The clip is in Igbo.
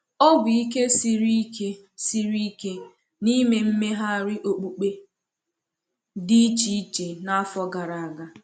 Ọ bụ ike siri ike siri ike n’ime mmegharị okpukpe dị iche iche n’afọ gara aga.